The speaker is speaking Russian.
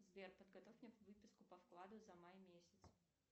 сбер подготовь мне выписку по вкладу за май месяц